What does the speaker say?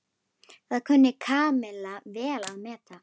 Það kunni Kamilla vel að meta.